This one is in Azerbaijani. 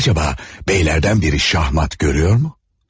Görəsən, bəylərdən biri şahmat görür mü?